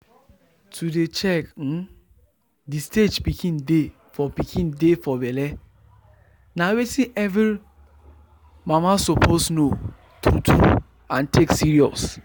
to dey check um the stage pikin dey for pikin dey for belle na wetin every mamasuppose know true true and take serious.